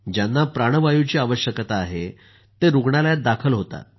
ज्यांना प्राणवायुची आवश्यकता आहेते रूग्णालयात दाखल होतात